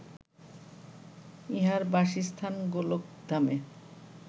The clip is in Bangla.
ইঁহার বাসস্থান গোলকধামে